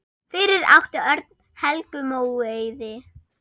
Fyrir átti Örn Helgu Móeiði.